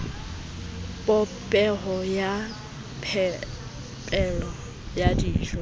popeho ya phepelo ya dijo